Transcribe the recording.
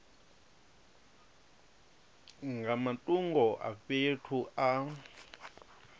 nga matungo a fhethu a